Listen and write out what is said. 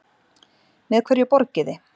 Með hverju borgiði?